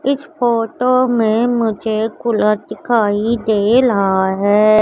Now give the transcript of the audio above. इस फोटो में मुझे कूलर दिखाई दे ला है।